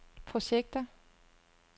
projekter